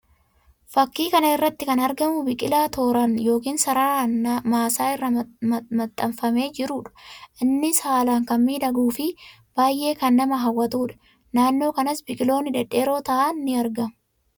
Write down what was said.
Fakkii kana irratti kan argamu biqilaa tooraan yookiin sararaan maasaa irra maxxanfamee jiruu dha. Innis haalaan kan miidhaguu fi baayyee kan nama hawwatuu dha. Naannoo kanas biqiloonni dhedheeroo ta'an ni argamu.